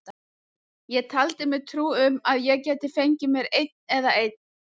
Ég taldi mér trú um að ég gæti fengið mér einn og einn.